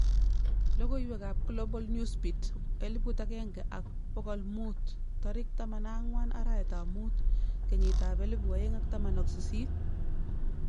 Logoiwek ab Global Newsbeat 1500 14/05/2018